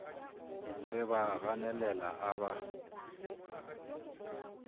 re ba ganelela a ba